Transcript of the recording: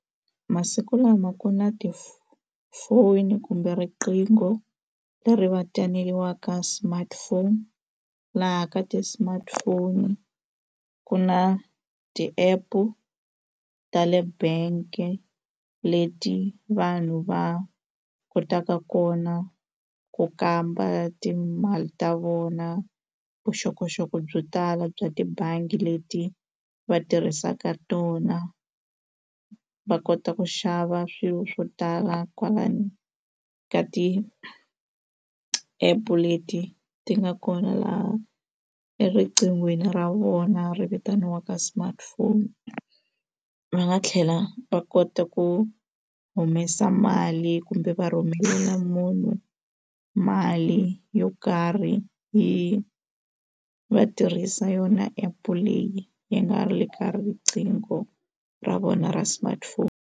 Masiku lama ku na ti-phone kumbe riqingho leri vitaniwaka smartphone laha ka ti-smartphone ku na ti-app-u ta le bank leti vanhu va kotaka kona ku kamba timali ta vona vuxokoxoko byo tala bya tibangi leti va tirhisaka tona va kota ku xava swilo swo tala kwalano ka ti-app leti ti nga kona laha eriqinghweni ra vona ri vitaniwaka smartphone va nga tlhela va kota ku humesa mali kumbe va rhumela munhu mali yo karhi yi va tirhisa yona app-e leyi yi nga le ka riqingho ra vona ra smartphone.